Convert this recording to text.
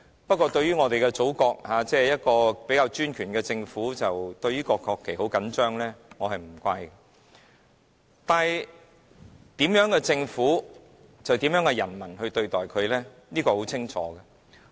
不過，在我們的祖國，一個比較專權的政府對國旗甚為緊張，我是不會怪責的，但政府怎樣行事，人民就會怎樣對待它，這是很清楚的。